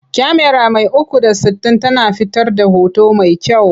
Kyamara mai 360 tana fitar da hoto mai kyau.